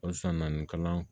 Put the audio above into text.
Halisa na ni kalan